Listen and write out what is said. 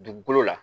Dugukolo la